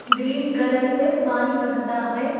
Green colour से पानी बहता है।